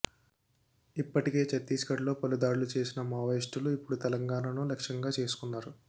ఇప్పటికే ఛత్తీస్గఢ్లో పలు దాడులు చేసిన మావోయిస్టులు ఇప్పుడు తెలంగాణను లక్ష్యంగా చేసుకున్నారు